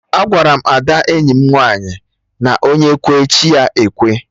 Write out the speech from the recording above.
Agwaram Ada enyi m nwaanyị na onye kwee, chi ya ekwe